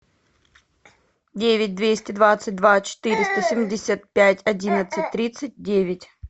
девять двести двадцать два четыреста семьдесят пять одиннадцать тридцать девять